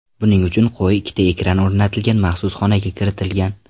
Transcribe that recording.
Buning uchun qo‘y ikkita ekran o‘rnatilgan maxsus xonaga kiritilgan.